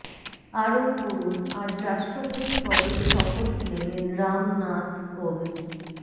আরও পড়ুন আজ রাষ্ট্রপতি পদে শপথ নেবেন রাম নাথ কোভিন্দ